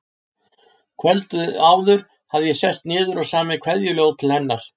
Kvöldið áður hafði ég sest niður og samið kveðjuljóð til hennar.